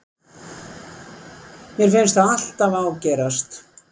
Mér finnst það alltaf ágerast.